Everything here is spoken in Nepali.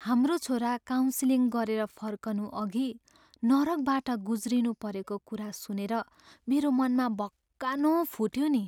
हाम्रो छोरो काउन्सिलिङ गरेर फर्कनु अघि नरकबाट गुज्रिनु परेको कुरा सुनेर मेरो मनमा भक्कानो फुट्यो नि।